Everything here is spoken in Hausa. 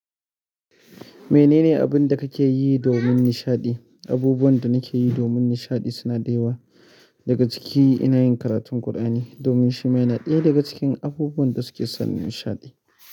Menene abin da kake yi domin nishaɗi? Abubuwan da nake yi domin nishaɗi suna da yawa. Daga ciki ina yin karatun Qur'ani domin shi ma yana ɗaya daga cikin abubuwan da suke sani nishaɗi.